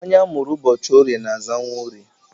Onye amụrụ ụbọchị Orie na-aza Nworie